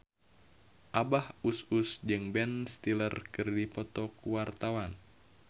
Abah Us Us jeung Ben Stiller keur dipoto ku wartawan